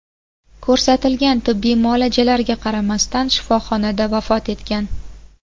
ko‘rsatilgan tibbiy muolajalarga qaramasdan shifoxonada vafot etgan.